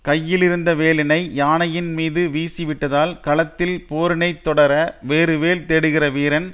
கையிலிருந்த வேலினை யானையின் மீது வீசி விட்டதால் களத்தில் போரினைத் தொடர வேறு வேல் தேடுகிற வீரன்